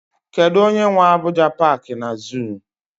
Kedụ onye nwe Abuja paaki na zuu?